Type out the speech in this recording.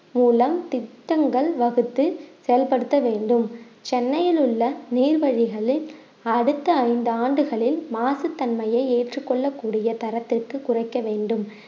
மூலம் திட்டங்கள் வகுத்து செயல்படுத்த வேண்டும் சென்னையில் உள்ள நீர் வழிகளில் அடுத்த ஐந்து ஆண்டுகளில் மாசு தன்மையை ஏற்றுக் கொள்ளக்கூடிய தரத்திற்கு குறைக்க வேண்டும்